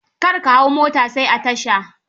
Kar ka hau mota sai a tasha.